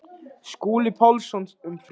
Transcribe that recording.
Skúli Pálsson um þrítugt.